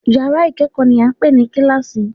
Yàrá ìkẹ́kọ̀ọ́ ni à ń pè ní kíláàsì